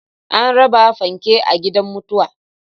An raba fanke a gidan mutuwar